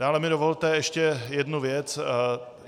Dále mi dovolte ještě jednu věc.